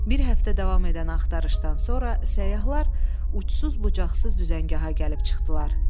Bir həftə davam edən axtarışdan sonra səyyahlar uçsuz-bucaqsız düzəngaha gəlib çıxdılar.